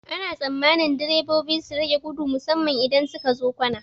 Ana tsammanin direbobi su rage gudu musamman idan sukazo kwana.